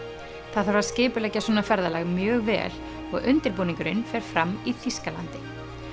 það þarf að skipuleggja svona ferðalag mjög vel og fer fram í Þýskalandi